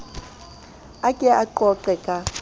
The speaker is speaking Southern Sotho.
a ke o qoqe ka